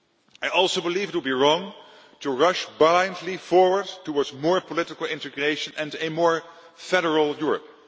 I also believe it would be wrong to rush blindly forward towards more political integration and a more federal' Europe.